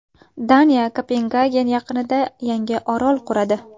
Daniya Kopengagen yaqinida yangi orol quradi.